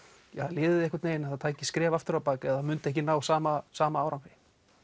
liðið tæki skref aftur á bak eða myndi ekki ná sama sama árangri